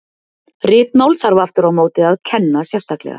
Ritmál þarf aftur á móti að kenna sérstaklega.